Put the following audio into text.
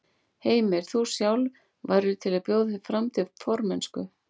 Heimir: Þú sjálf, værirðu til í að bjóða þig fram til formennsku?